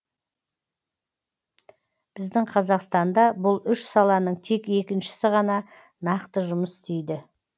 біздің қазақстанда бұл үш саланың тек екіншісі ғана нақты жұмыс істейді